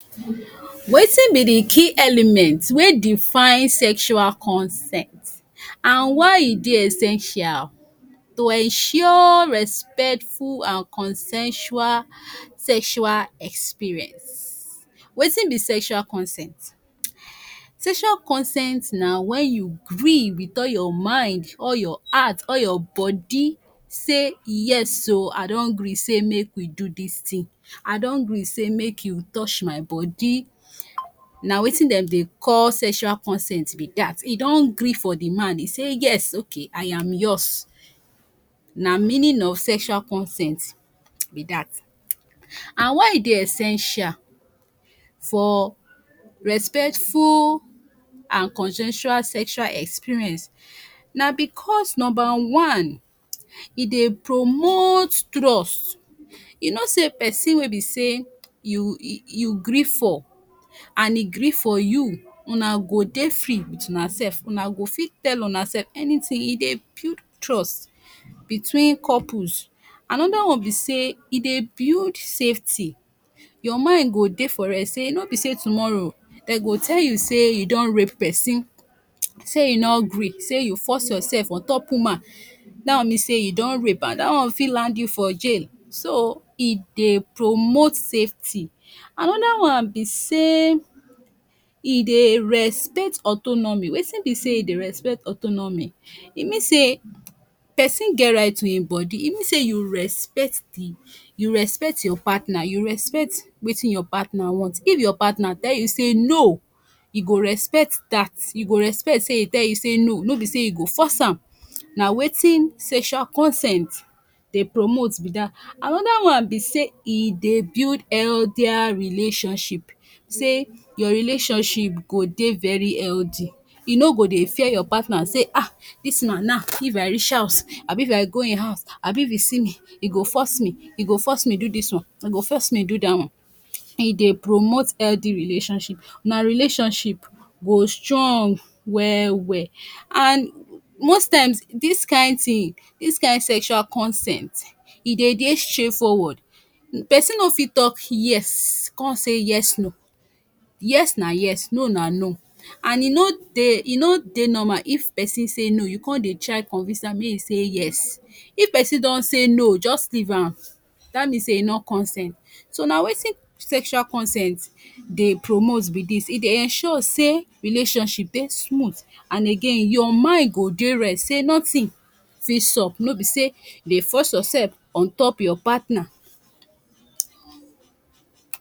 wetin be the key element Wer define sexual consent and why e Dey essential to ensure respectful and consensual sexual experience wetin be sensual consent? Sensual consent na wen u free with all your mind, all your heart, all your body say yes o I don gree say make we do dis tin, I don gree say make u tosh my body na wetin dem Dey call sesual corsent be dat, e don gree for d man, e say yes okay I am yours, na meaning of sesual consent be dat and why e Dey ensential for respectful and consensual sesual experience na bcuz number one e Dey promote trust you know say person wey be say you e e gree for and e gree for you na go Dey free with Una sef, Una go fit tell Una sef anything, e Dey build trust between couples another one be say e Dey build safety your mind go Dey for rest say no be say tomorrow dem go tell you say you don rape person say e no gree, say you force ursef on top woman that one mean say u don rape am, dat one fit land you for jail so e Dey promote safety, another one be say e Dey respect autonomy, wetin be say e Dey respect autonomy, e mean say in get right to in body, e mean say u respect the, you respect your partner, you respect wetin ur partner want, if your partner tell you say no, e go respect dat, u go respect say e tell you say no, no be say you go force am, na wetin sesual consent Dey promote be dat, another one be say e Dey build eldier relationship say ur relationship go Dey very eldy, u no go Dey fear your partner say e um dis man now if I reach house Abi if I go in house Abi if in see me, e go force me, e go force me do dis one, e go force me dat one, e Dey promote eldy relationship, na relationship go strong well well and instead dis kind tin, this kind sensual consent e Dey Dey straightforward, person no fit talk yes con say yes no, yes na yes, no na no and e no Dey, e no Dey normal if pesin say no, u con Dey try convince am say may en say yes, if pesin con say no just leave am, dat means say e no consent so na wetin sensual consent Dey promote be dis, e Dey ensure say relationship Dey smooth and again ur mind go Dey rest say not in fit sup, no be say u Dey force ursef ontop ur partner